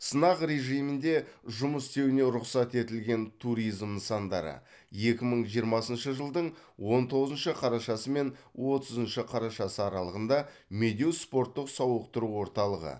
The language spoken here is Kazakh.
сынақ режимінде жұмыс істеуіне рұқсат етілген туризм нысандары екі мың жиырмасыншы жылдың он тоғызыншы қарашасы мен отызыншы қарашасы аралығында медеу спорттық сауықтыру орталығы